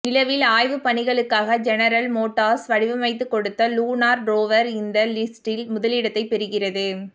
நிலவில் ஆய்வுப் பணிகளுக்காக ஜெனரல் மோட்டார்ஸ் வடிவமைத்துக் கொடுத்த லூனார் ரோவர் இந்த லிஸ்ட்டில் முதலிடத்தை பெறுகிறது